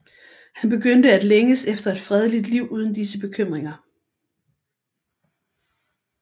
Han begyndte at længes efter et fredeligt liv uden disse bekymringer